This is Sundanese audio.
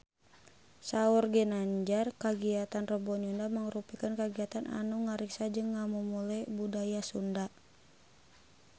Saur Ginanjar kagiatan Rebo Nyunda mangrupikeun kagiatan anu ngariksa jeung ngamumule budaya Sunda